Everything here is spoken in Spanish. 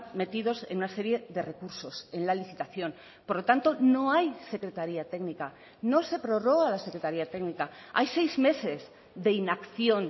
metidos en una serie de recursos en la licitación por lo tanto no hay secretaria técnica no se prorroga la secretaria técnica hay seis meses de inacción